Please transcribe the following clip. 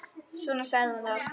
Svona sagði hún það.